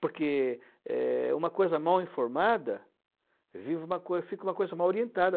Porque é é uma coisa mal informada, vira uma coisa fica uma coisa mal orientada.